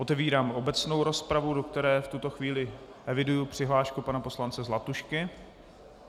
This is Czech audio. Otevírám obecnou rozpravu, do které v tuto chvíli eviduji přihlášku pana poslance Zlatušky.